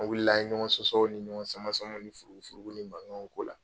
An wulila an ye ɲɔgɔn sɔsɔ ni ɲɔgɔn samasama ni furugufurugu ni mankanw k'o la.